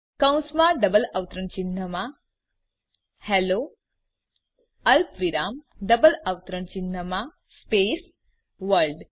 કૌંસમાં ડબલ અવતરણ ચિહ્નમાં હેલ્લો અલ્પવિરામ ડબલ અવતરણ ચિહ્નમાં સ્પેસ વર્લ્ડ